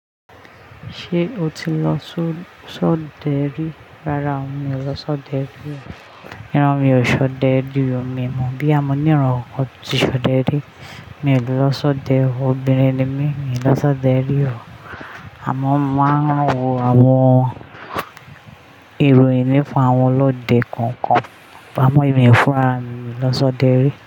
Ṣé o ti lọ sọ́ sodẹrí? Rárá, mi ò lọ sọ́dẹ rí o. Iran mi ò ṣọdẹ rí o. Mi ò mọ̀ bo ya mo níran kan tí ṣọdẹ rí. Mi ò lè lọ sọdẹ o. Obìnrin ni mí, mi ò lọ sọdẹ rí o. Àmo máa ń wo àwọn ìròyìn nípá awọn lọ́dẹ kọ̀ọ̀kan. Pa mọ́ emi fúràrami, mi ò lọ sọdẹ rí.